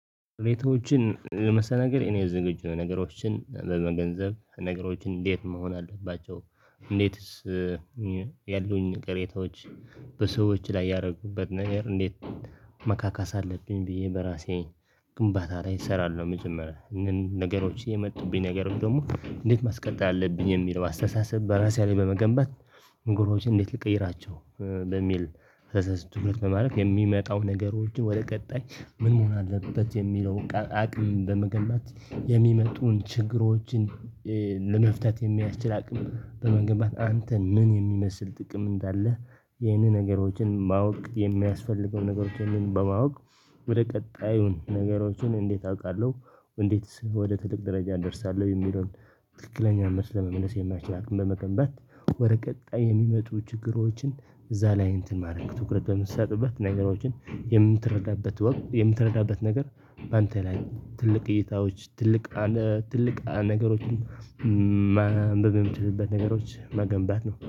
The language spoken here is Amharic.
ሁኔታዎችን ለመስተናገድ እኔ ዝግጁ ነኝ ነገሮችን ለመገንዘብ ነገሮችን እንዴት መሆን አለባቸው። እንዴትስ ያሉኝን ቅሬታዎች። በሰዎች ላይ ያረኩበትን ነገር እንዴት ማካካስ አለብኝ ብዬ በራሴ ግንባታ ላይ እሰራለሁ። መጀመሪያ ነገሮች የመጡብኝን ነገሮች ደግሞ እንዴት ማስቀጠል አለብኝ የሚለውን አስተሳሰብ በራሴ ላይ በመገንባት። ነገሮችን እንዴት ልቀይራቸው በሚል ናገር ትኩረት በማድረግ የሚመጣው ነገሮችን ወደ ቀጣይ ምን መሆን አለበት የሚለው አቅም በመገንባት የሚመጡትን ችግሮችን። ለመፍታት የሚያስችል አቅም በመገንባት አንተ ምን የሚመስል ጥቅም እንዳለህ ይህንን ነገሮችን ማወቅ የሚያስፈልገውን ነገሮችን በማወቅ ወደ ቀጣዩ ነገሮችን እንዴት አውቃለሁ? እንዴትስ ወደ ትልቅ ደረጃ እደርሳለሁ የሚለውን? ትክክለኛ መስመር ለይ የሚያደረስ አቅም በመገንባት ወደ ቀጣይ የሚመጡ ችግሮችን እዛ ላይ እንትን ማድረግ ትኩረት በምትሰጥበት ነገሮችን የምትረዳበት ወቅት የምትረዳበት ነገር በአንተ ላይ ትልቅ እይታዎች ትልቅ አ ትላልቅ ነገሮችን። ማንበብ የምትችልበትን ነገሮች መገንባት ነው